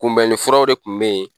Kunbɛnnifuraw de tun bɛ yen